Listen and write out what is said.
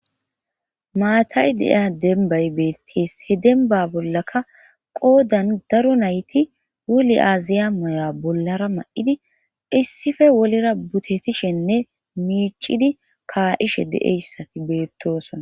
Maatay deiya dembay beettees he demba bollaka qoodan daro nayti woli aaziya moya bollara ma7idi issife wolera butetishenne miicidi kaa7ishe de7eyssati beettosona